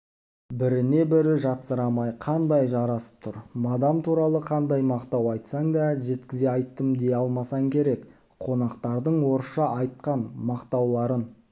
біріне бірі жатсырамай қандай жарасып тұр мадам туралы қандай мақтау айтсаң да жеткізе айттым дей алмасаң керек қонақтардың орысша айтқан мақтауларын